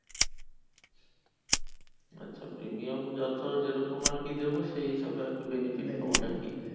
আচ্ছা premium যত যে রকম আর কি দেব, সেই হিসাবে আর কি benefit পাবো benefit পাবে। নাকি?